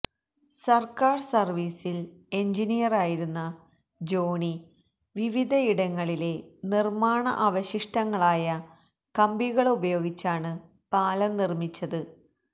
സർക്കാർ സർവീസിൽ എൻജിനിയറായിരുന്ന ജോണി വിവിധയിടങ്ങളിലെ നിർമാണ അവശിഷ്ടങ്ങളായ കമ്പികളുപയോഗിച്ചാണ് പാലം നിർമിച്ചത്